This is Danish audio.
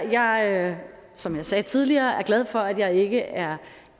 jeg som jeg sagde tidligere er glad for at jeg ikke er